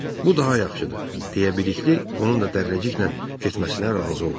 Bu daha yaxşıdır, deyə Bilikli onun da Dərrəciklə getməsinə razı oldu.